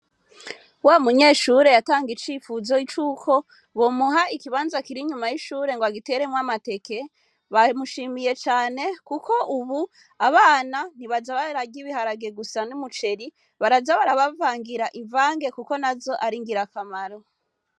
Wamuyeshure yantanga icipfuzo c'uko bomuha ikibanza kiri inyuma y'amashure ngo agiteremwo amateke bamushimiye cane kuko ubu abana ntibaja bararya ibiharage gusa n'umuceri baraja barabavangira imvange kuko nazo ar'ingirakamaro.